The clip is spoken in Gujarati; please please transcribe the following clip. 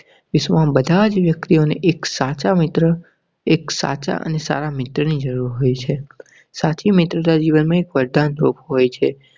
વિશ્વમાં બધા જ વ્યક્તિ ને એક સાચા મિત્ર એક સાચા અને સારા મિત્ર ની જરુર હોય છે. સાચી મિત્રતા સાચી મિત્રતા જીવન માં એક વરદાન રૂપ હોય છે.